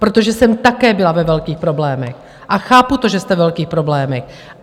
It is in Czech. Protože jsem také byla ve velkých problémech a chápu to, že jste ve velkých problémech.